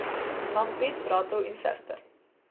Imam pet bratov in sester.